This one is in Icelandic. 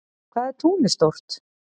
Hvað er tunglið stórt?